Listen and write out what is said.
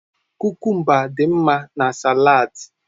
Kukumba dị mma na salads.